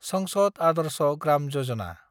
संसद आदर्श ग्राम यजना